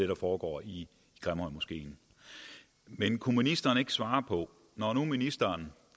der foregår i grimhøjmoskeen men kunne ministeren ikke svare på når nu ministeren